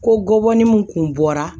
Ko gɔbɔni mun kun bɔra